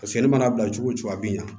Paseke ne mana bila cogo o cogo a bɛ ɲa